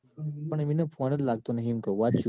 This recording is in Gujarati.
પણ એન phone નજ લાગતો નઈ એમ કૌ.